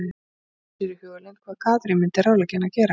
Hún gerði sér í hugarlund hvað Katrín myndi ráðleggja henni að gera.